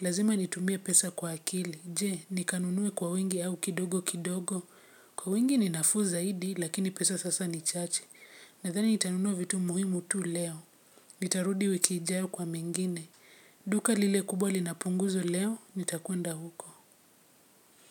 Lazima nitumie pesa kwa akili. Je, nikanunue kwa wingi au kidogo kidogo. Kwa wingi ni nafuu zaidi, lakini pesa sasa ni chache. Nadhani nitanunua vitu muhimu tu leo. Nitarudi wiki ijayo kwa mengine. Duka lile kubwa lina punguzo leo, nitakwenda huko.